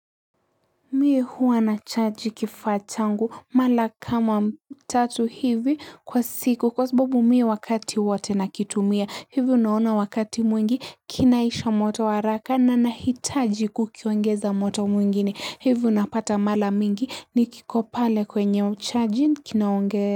Mie huwa na charge kifaa changu mala kama tatu hivi kwa siku kwa sababu mie wakati wote nakitumia hivi unaona wakati mwingi kinaisha moto haraka na na hitaji kukiongeza moto mwingine hivi unapata mala mingi nikikopale kwenye charge kinaongee.